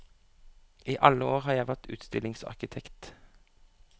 I alle år har jeg vært utstillingsarkitekt.